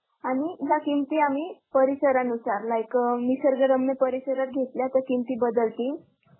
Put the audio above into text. आणि ह्या किंमती आम्ही परिसरानुसार, like a निसर्गरम्य परिसरात घेतली तर किंमत बदलतील त्याच्या